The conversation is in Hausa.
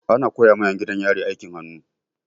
Ana koya ma 'yan gidan yari aikin hannu.